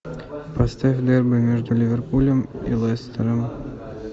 поставь дерби между ливерпулем и лестером